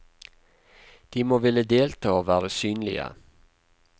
De må ville delta og være synlige.